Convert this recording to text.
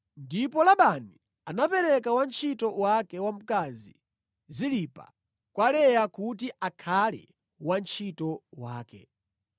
Ndipo Labani anapereka wantchito wake wamkazi Zilipa kwa Leya kuti akhale wantchito wake.